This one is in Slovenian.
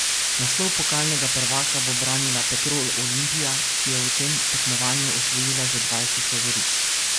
Naslov pokalnega prvaka bo branila Petrol Olimpija, ki je v tem tekmovanju osvojila že dvajset lovorik.